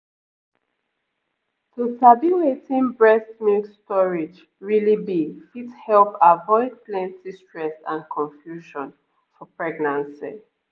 to sabi wetin breast milk storage really be fit help avoid plenty stress and confusion for pregnancy